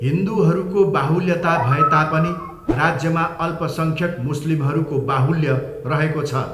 हिन्दुहरूको बाहुल्यता भए तापनि राज्यमा अल्पसङ्ख्यक मुस्लिमहरूको बाहुल्य रहेको छ।